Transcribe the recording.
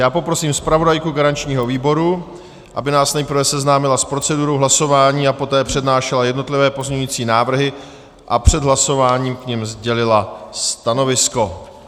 Já poprosím zpravodajku garančního výboru, aby nás nejprve seznámila s procedurou hlasování a poté přednášela jednotlivé pozměňovací návrhy a před hlasováním k nim sdělila stanovisko.